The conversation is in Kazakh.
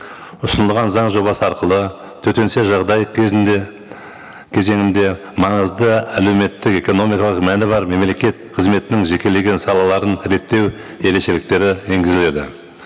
ұсынылған заң жобасы арқылы төтенше жағдай кезінде кезеңінде маңызды әлеуметтік экономикалық мәні бар мемлекет қызметінің жекелеген салаларын реттеу ерекшеліктері енгізіледі